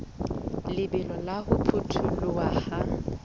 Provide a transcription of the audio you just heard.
lebelo la ho potoloha ha